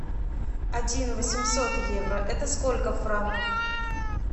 один восемьсот евро это сколько в франках